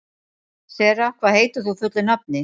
Sera, hvað heitir þú fullu nafni?